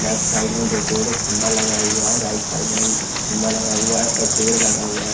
Left side में दो पेड़ एक खंभा लगा हुआ है राइट साइड में भी खंभा लगा हुआ है और पेड़ लगा हुआ है।